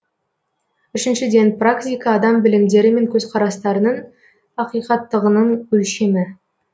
үшіншіден практика адам білімдері мен көзқарастарының ақиқаттығының өлшемі